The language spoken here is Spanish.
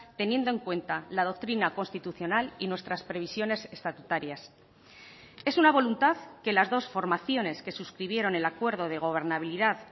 teniendo en cuenta la doctrina constitucional y nuestras previsiones estatutarias es una voluntad que las dos formaciones que suscribieron el acuerdo de gobernabilidad